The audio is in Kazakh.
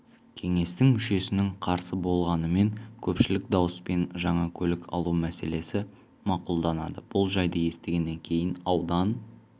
кеңестің мүшесінің қарсы болғанымен көпшілік дауыспен жаңа көлік алу мәселесі мақұлданады бұл жайды естігеннен кейін аудан